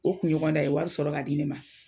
O kunɲɔgɔn d'a ye wari sɔrɔ k'a di ne ma.